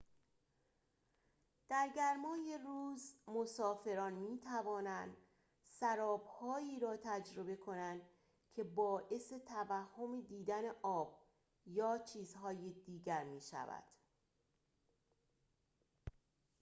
در گرمای روز، مسافران می‌توانند سراب‌هایی را تجربه کنند که باعث توهم دیدن آب یا چیزهای دیگر می‌شود